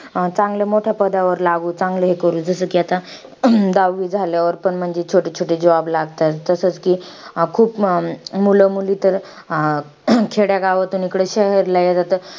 आज या जगात शेतकरी नसता तर आपण शेतकऱ्यांनी पिकवलेले अन्न कसे खाऊ शकले असतो. शेतकरी या सर्व अडचणीवर मात करून आपला आयुष्य जगत असतो अन्नाची गरज भागवत असतो.